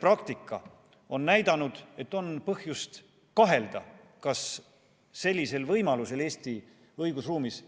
Praktika on näidanud, et on põhjust kahelda, kas selline võimalus on Eesti õigusruumis